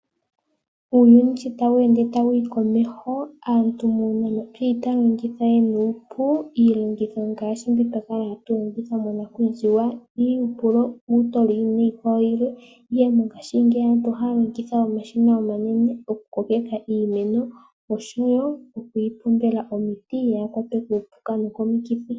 Uuyuni sho tawu ende tawuyi komeho aantu muuyuni oyeli taya longo nuupu. Iilongitho ngaashi mbi twakala hatu longitha monakuziwa iihupulo, uutololi niikwawo yilwe .Mongaashingeyi aantu ohaya longitha omashina omanene oku kokeka iimeno oshowo okuyi pombela omiti opo kayi kwatwe kuupuka.